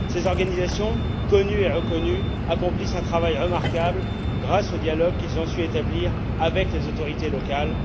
Ces organisations connues et reconnues accomplissent un travail remarquable grâce au dialogue qu'elles ont su établir avec les autorités locales.